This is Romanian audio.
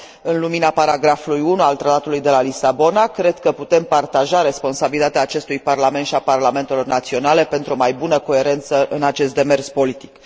În lumina paragrafului 1 al Tratatului de la Lisabona, cred că putem partaja responsabilitatea acestui Parlament și a parlamentelor naționale, pentru o mai bună coerență în acest demers politic.